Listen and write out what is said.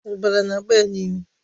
Ọbara na-agba ya n'imi.